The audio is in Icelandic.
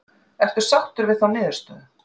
Ertu sáttur við þá niðurstöðu?